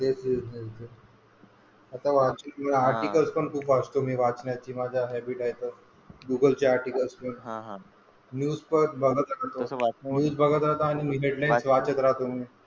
Article पण खूप वाचतो मी, वाचण्याची माझी हॅबिट आहे तर. गूगल आर्टिकल, हा हा, न्यूज बघतो मूवी बघतो .